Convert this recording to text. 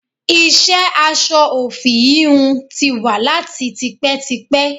Iṣẹ́ aṣọ òfì íhùn tí wà láti tipẹ́tipẹ́.